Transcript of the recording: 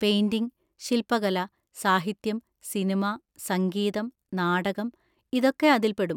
Painting, ശിൽപ്പകല, സാഹിത്യം, cinema, സംഗീതം, നാടകം, ഇതൊക്കെ അതിൽ പെടും.